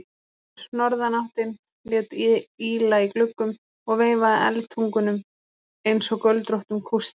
Hvöss norðanáttin lét ýla í gluggum og veifaði eldtungunum einsog göldróttum kústi.